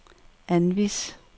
anvis